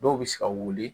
Dɔw bɛ se ka wuli